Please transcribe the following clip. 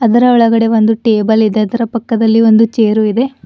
ಅದರ ಒಳಗಡೆ ಒಂದು ಟೇಬಲ್ ಇದೆ ಅದರ ಪಕ್ಕದಲ್ಲಿ ಒಂದು ಚೇರು ಇದೆ.